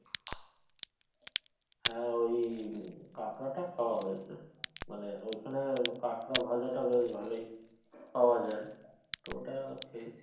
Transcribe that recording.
হ্যাঁ ওই কাঁকড়াটা খাওয়া হয়েছে মানে ঐইখানে কাকারা ভাজাটা বেশ ভালোই, পাওয়া যাই তো ওটা খেয়েছি